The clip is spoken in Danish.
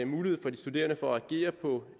mulighed for de studerende for at agere på